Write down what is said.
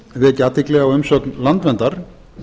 vekja athygli á umsögn landverndar